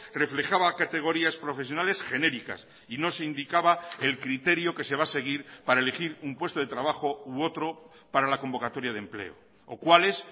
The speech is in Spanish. reflejaba categorías profesionales genéricas y no se indicaba el criterio que se va a seguir para elegir un puesto de trabajo u otro para la convocatoria de empleo o cuáles